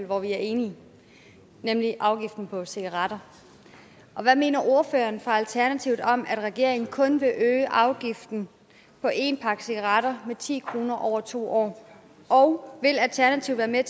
hvor vi er enige nemlig afgiften på cigaretter hvad mener ordføreren for alternativet om at regeringen kun vil øge afgiften på en pakke cigaretter med ti kroner over to år og vil alternativet være